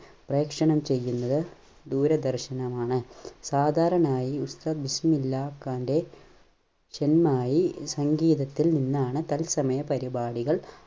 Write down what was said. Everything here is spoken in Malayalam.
പ്രേക്ഷണം ചെയ്യുന്നത് ദൂരദർശനമാണ്. സാധാരണായി ഉസ്താദ് ബിസ്മില്ലാഹ് ഖാൻറെ ഷെഹനായി സംഗീതത്തിൽ നിന്നാണ് തത്സമയ പരിപാടികൾ